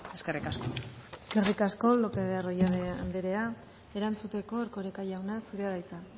eskerrik asko eskerrik asko lopez de arroyabe anderea erantzuteko erkoreka jauna zurea da hitza